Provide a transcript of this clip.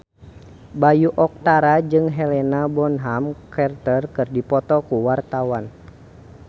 Bayu Octara jeung Helena Bonham Carter keur dipoto ku wartawan